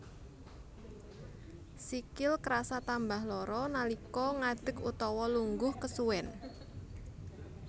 Sikil krasa tambah lara nalika ngadeg utawa lungguh kesuwen